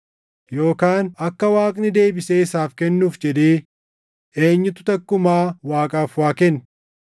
“Yookaan akka Waaqni deebisee isaaf kennuuf jedhee, eenyutu takkumaa Waaqaaf waa kenne?” + 11:35 \+xt Iyo 41:11\+xt*